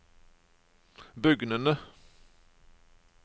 bugnende